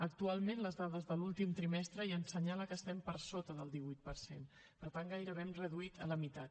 actualment les dades de l’últim trimestre ja ens assenyalen que estem per sota del divuit per cent per tant gairebé hem reduït a la meitat